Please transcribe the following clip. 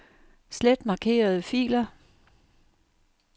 Slet markerede filer.